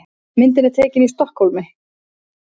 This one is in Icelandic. Myndin er tekin í Stokkhólmi.